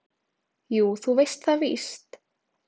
"""Jú, þú veist það víst."""